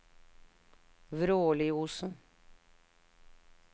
Vråliosen